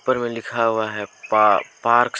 ऊपर में लिखा हुआ है पा पार्क्स ।